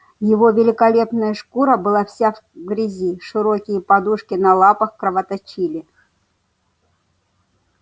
его великолепная шкура была вся в грязи широкие подушки на лапах кровоточили